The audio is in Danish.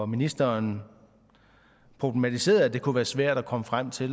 ministeren problematiserede at det kunne være svært at komme frem til